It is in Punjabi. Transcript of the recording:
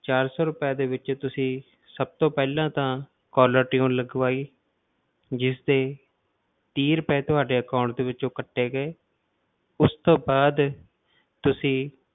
ਚਾਰ ਸੌ ਰੁਪਏ ਦੇ ਵਿੱਚ ਤੁਸੀਂ ਸਭ ਤੋਂ ਪਹਿਲਾਂ ਤਾਂ caller tune ਲਗਵਾਈ, ਜਿਸ ਦੇ ਤੀਹ ਰੁਪਏ ਤੁਹਾਡੇ account ਦੇ ਵਿੱਚੋਂ ਕੱਟੇ ਗਏ ਉਸ ਤੋਂ ਬਾਅਦ ਤੁਸੀਂ